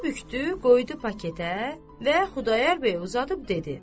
Kağızı bükdü, qoydu paketə və Xudayar bəy uzadıb dedi.